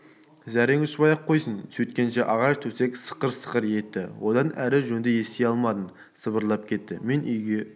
зәрең ұшпай-ақ қойсын сөйткенше ағаш төсек сықыр-сықыр еттіодан әрі жөнді ести алмадым сыбырласып кетті мен үйге